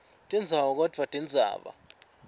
tindzawo kodvwa indzaba